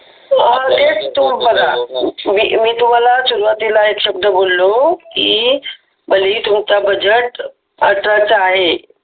तेच तुम्ही बघा मी तुम्हाला सुरुवातीला एक शब्द बोललो की भलेही तुमचा बजेट अठराचा आहे